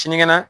Sinikɛnɛ